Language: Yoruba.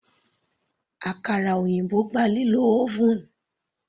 Àkàrà òyìnbó gba lílo oven.